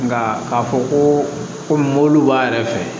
Nka k'a fɔ komi mobili b'a yɛrɛ fɛ